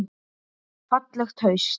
Fallegt haust.